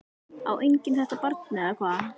Á enginn þetta barn eða hvað?